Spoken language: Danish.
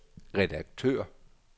redaktør